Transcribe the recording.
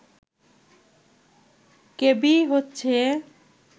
KBE হচ্ছে